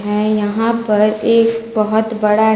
मैं यहां पर एक बहोत बड़ा--